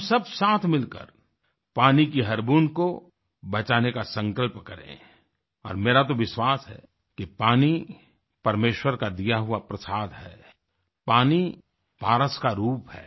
हम सब साथ मिलकर पानी की हर बूंद को बचाने का संकल्प करें और मेरा तो विश्वास है कि पानी परमेश्वर का दिया हुआ प्रसाद है पानी पारस का रूप है